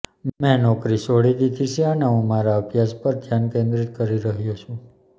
મેં નોકરી છોડી દીધી છે અને હું મારા અભ્યાસ પર ધ્યાન કેન્દ્રિત કરી રહ્યો છુ